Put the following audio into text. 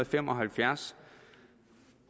fem og halvfjerds